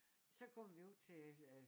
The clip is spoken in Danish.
Så kommer vi ud til øh